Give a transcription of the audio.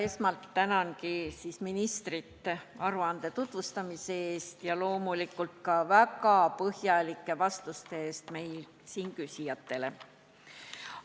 Esmalt tänan ministrit aruande tutvustamise eest ja loomulikult ka väga põhjalike vastuste eest küsijatele!